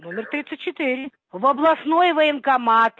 номер тридцать четыре в областной военкомат